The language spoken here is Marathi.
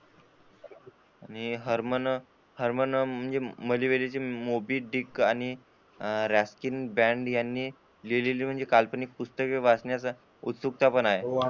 आणि हरमन . आणि बँड यांनी लिहलेली म्हणजे काल्पनिक पुस्तक वाचण्याचा उत्सुकता पण आहे.